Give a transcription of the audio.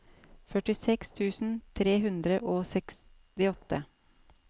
førtiseks tusen tre hundre og sekstiåtte